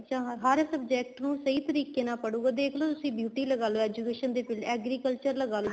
ਹਰ subject ਨੂੰ ਸਹੀਂ ਤਰੀਕੇ ਨਾਲ ਪੜੁਗਾ ਦੇਖਲੋ ਤੁਸੀਂ beauty ਲਗਾਲੋ education ਦੇ field ਚ agriculture ਲਗਾਲੋ